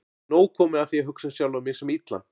Nóg komið af því að hugsa um sjálfan mig sem illan.